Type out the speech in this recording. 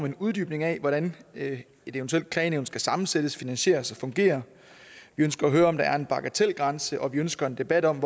en uddybning af hvordan et eventuelt klagenævn skal sammensættes finansieres og fungere vi ønsker at høre om der er en bagatelgrænse og vi ønsker en debat om